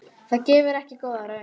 Það gefur ekki góða raun.